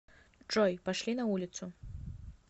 джой пошли на улицу